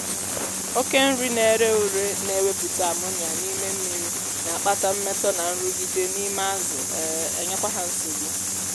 oke nri na-èré ùré na-ewepụta ammonia n'ime mmiri na-akpata mmetọ na nrụgide n’ime azụ um enyekwa ha nsogbu